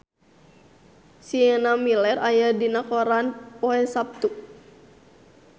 Sienna Miller aya dina koran poe Saptu